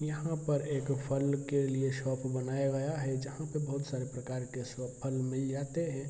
यहां पर एक फल के लिए शॉप बनाया गया है जहाँ पे बहुत सारे प्रकार के शो फल मिल जाते हैं।